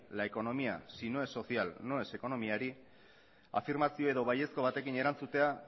la economía si no es social no es economia afirmazio edo baiezko batekin erantzutea